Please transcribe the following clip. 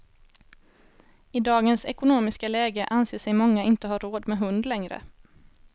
I dagens ekonomiska läge anser sig många inte ha råd med hund längre.